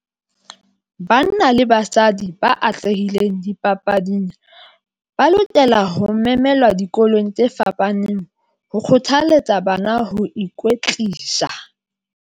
Banna le basadi ba atlehileng dipapading ba lokela ho memelwa dikolong tse fapaneng ho kgothalletsa bana ho ikwetlisa.